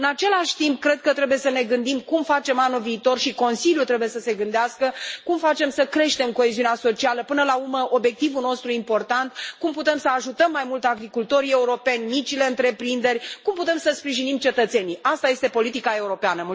În același timp, cred că trebuie să ne gândim cum facem anul viitor și Consiliul trebuie să se gândească cum facem să creștem coeziunea socială până la urmă obiectivul nostru important cum putem să ajutăm mai mult agricultorii europeni, micile întreprinderi, cum putem să sprijinim cetățenii. Asta este politica europeană.